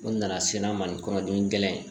N nana sennan mali kɔnɔ gɛlɛn